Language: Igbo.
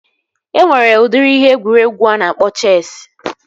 Enwere udiri ihe egwuregwu a na-akpọ Chesi